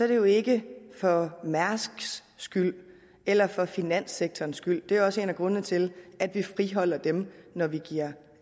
det jo ikke for mærsks skyld eller for finanssektorens skyld det er jo også en af grundene til at vi friholder dem når vi giver